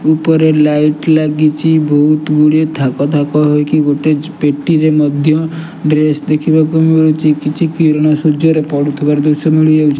ଉପରେ ଲାଇଟ୍ ଲାଗିଚି ବହୁତ୍ ଗୁଡିଏ ଥାକ ଥାକ ହୋଇକି ଗୋଟେଚ୍ ପେଟିରେ ମଧ୍ୟ ଡ୍ରେସ୍ ଦେଖିବାକୁ ମିଳୁଛି କିଛି କିରଣ ସୂର୍ଯ୍ୟରେ ପଡୁଥିବାରୁ ଦୃଶ୍ୟ ମିଳିଯାଉଛି।